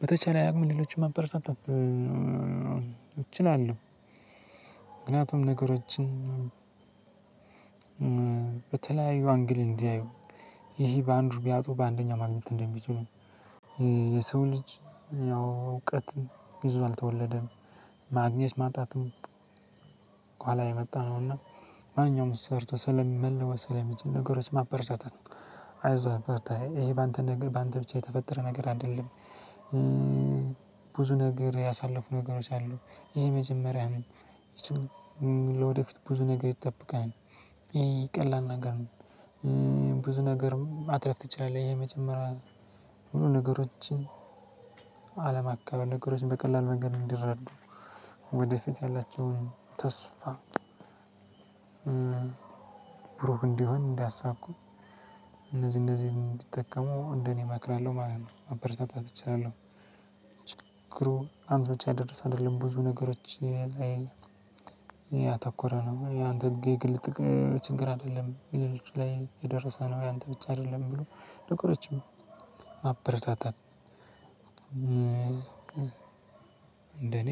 በተቻለ አቅም ሌሎችን መበረታታት እ እችላለሁ። ምክንያቱም ነገሮችን በተለያዩ አንግል እንዲያዩ ይሄ በአንዱ ቢያጡ በአንደኛው ማግኘት እንደሚችሉ። እ የሰው ልጅ እውቀት ይዞ አልተወለደም ያው ማግኘት ማጣት ከሁዋላ የመጣ ነው። እና ማንኛውም ሰርቶ ስለሚ መለወጥ ስለሚችል ነገሮች ማበረታታት። አይዞህ በርታ ይሄ በአንተ በአንተ ብቻ የተፈጠረ ነገር አይደለም። እ ብዙ ነገር ያሳለፉ ነገሮች አሉ ይሄ መጀመሪያ ነው። ይቺን ለወደፊት ብዙ ነገር ይጠብቅሃል ይሄ ቀላል ነገር ነው። ብዙ ነገር ማትረፍ ትችላለህ። ይሄ መጀመሪያ ሁሉ ነገሮችን አለማካበድ ነገሮችን በቀላል መንገድ እንዲረዱ ወደፊት ያላቸውን ተስፋ። ብሩህ እንዲሆን እንዲያሳኩ እነዚህ እነዚህን ይጠቀሙ እንደኔ እመክራለሁ ማለት ነው። ማበረታታት እችላለሁ አንተ ላይ ብቻ የደረሰ አይደለም። ብዙ ነገሮች እ ላይ ያተኮረ ነው ያንተ የግል ጥቅም ችግር አይደለም በሌሎች ላይ የደረሰ ነው። ያንተ ብቻ አይደለም ብሎ ማበረታታት። እንደኔ